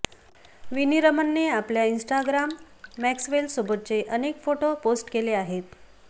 विनी रमनने आपल्या इन्स्टाग्राम मॅक्सवेलसोबतचे अनेक फोटो पोस्ट केले आहेत